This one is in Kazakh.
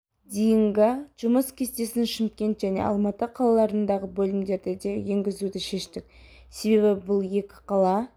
дейінгі жұмыс кестесін шымкент және алматы қалаларындағы бөлімдерде де енгізуді шештік себебі бұл екі қала